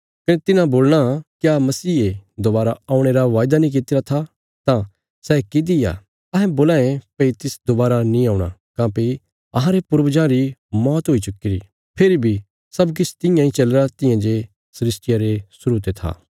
कने तिन्हां बोलणा क्या मसीहे दोवारा औणे रा वायदा नीं कित्तिरा था तां सै किति आ अहें बोलां ये भई तिस दोवारा नीं औणा काँह्भई अहांरे पूर्वजां री मौत हुई चुक्कीरी फेरी बी सब किछ तियां इ चलीरा तियां जे सृष्टिया रे शुरु ते था